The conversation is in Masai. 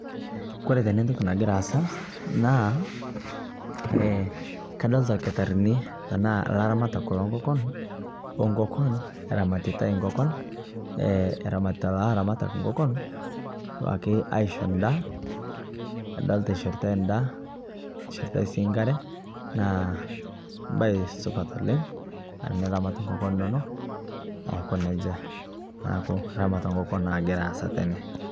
Kore tene ntokii nagira aasa naa ee kadolita lkitaarini tana laramatak lo nkokoon onkokoon eramaritai nkokoon, eramarita laramatak nkokoon duake aishoo ndaa. Nadolita eishoritai ndaa, eishoritai sii nkaare naa bayi supat oleng tiniramat nkokoon enono aikoo nejaa. Neeku ramata enkokoon nagira aasa tene.